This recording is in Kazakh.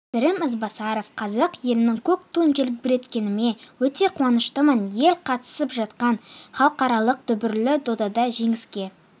сырым ізбасаров қазақ елінің көк туын желбіреткеніме өте қуаныштымын ел қатысып жатқан іалықаралық дүбірлі додада жеңіске